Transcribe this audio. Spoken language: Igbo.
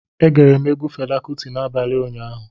E gere m egwu Fela Kuti n'abalị ụnyaahụ